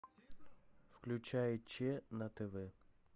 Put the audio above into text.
включай че на тв